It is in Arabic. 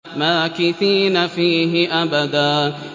مَّاكِثِينَ فِيهِ أَبَدًا